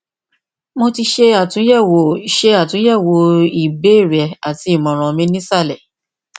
mo ti ṣe atunyẹwo ṣe atunyẹwo ibeere rẹ ati imọran mi ni isalẹ